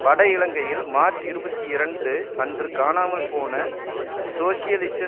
வட இலங்கையில் மார்ச் இருபத்தி இரண்டு அன்று காணாமல் போன சோசியலிச